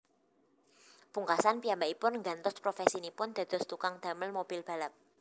Pungkasan piyambakipun nggantos profèsinipun dados tukang damel mobil balap